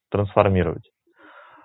трансформировать